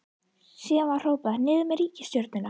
Síðan var hrópað: Niður með ríkisstjórnina!